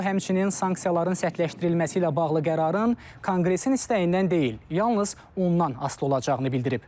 O həmçinin sanksiyaların sərtləşdirilməsi ilə bağlı qərarın Konqresin istəyindən deyil, yalnız ondan asılı olacağını bildirib.